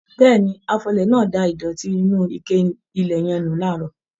Béèni, afọlẹ̀ náà da ìdòtí inú ike ilẹ̀ yẹn nù laarọ.